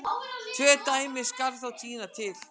Tvö dæmi skal þó tína til.